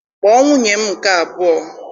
Kpọọ nwunye m nke abụọ!